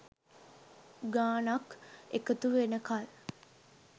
ගානක් එකතු වෙනකල්.